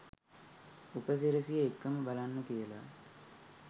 උපසිරැසි එක්කම බලන්න කියලා.